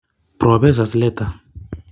Propesa Slater